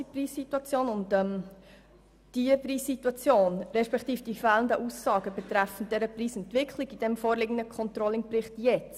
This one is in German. Die Preissituation und die fehlenden Aussagen betreffen ihrer Entwicklung sind auch für uns im vorliegenden Controlling-Bericht mangelhaft.